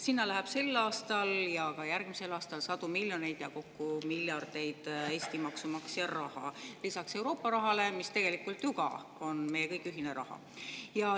Sinna läheb sel ja ka järgmisel aastal sadu miljoneid ning kokku miljardeid Eesti maksumaksja raha lisaks Euroopa rahale, mis tegelikult on ju ka meie kõigi ühine raha.